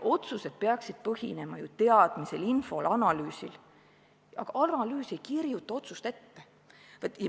Otsused peaksid põhinema ju teadmisel, infol, analüüsil, aga analüüs ei kirjuta otsust ette.